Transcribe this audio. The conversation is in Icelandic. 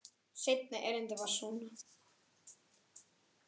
Seinna erindið var svona: